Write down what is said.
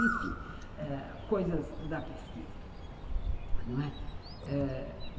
Enfim, ãh, coisas da pesquisa, não é?